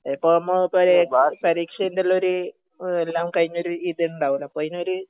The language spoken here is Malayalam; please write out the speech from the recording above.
ഇപ്പൊ നമ്മ പരീക്ഷ പരീക്ഷറ്റല്ലൊരു എല്ലാം കഴിഞ്ഞ ഒരു ഇതുണ്ടാവല്ലോ അപ്പൊ അയിനൊരു